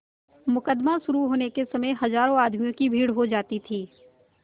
मुकदमा शुरु होने के समय हजारों आदमियों की भीड़ हो जाती थी